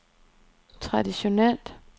traditionelt